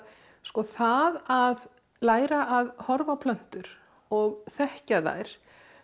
það að læra að horfa á plöntur og þekkja þær